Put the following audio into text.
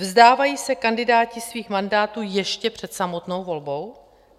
Vzdávají se kandidáti svých mandátů ještě před samotnou volbou?